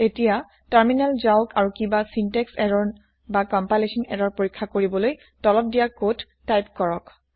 এতিয়া তাৰমিনেল যাওক আৰু কিবা চিন্তেক্স এৰৰ না কম্পাইলেচ্যন এৰৰ পৰীক্ষা কৰিবলৈ তলত দিয়া কদ টাইপ কৰক